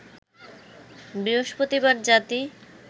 বৃহস্পতিবার জাতি